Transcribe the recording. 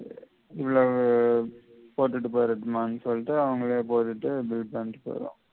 உள்ளால போட்டுட்டு போயிடட்டுமானு சொல்லிட்டு அவங்களே போட்டுட்டு bill தந்திட்டு போயிடுவாங்க